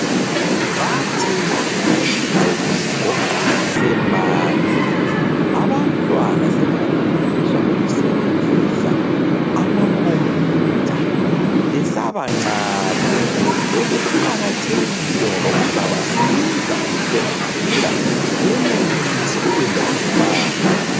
Bathi isigogo sigoqwa sisemanzi. Abantwana sebefundiswa ukusebenzisa amakhompiyutha besabancane. Lokhu kuqakathekile ngoba kuzabasiza ukuthi bengakhula benelise ukwenza izimanga.